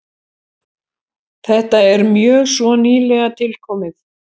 Þetta er mjög svo nýlega tilkomið.